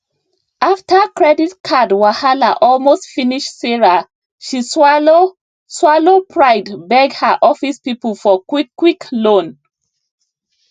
after credit card wahala almost finish sarah she swallow swallow pride beg her office people for quickquick loan